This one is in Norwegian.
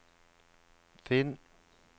finn